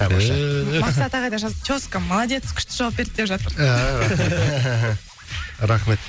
тамаша мақсат ағай да жазыпты теска молодец күшті жауап берді деп жатыр